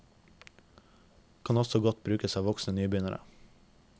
Kan også godt brukes av voksne nybegynnere.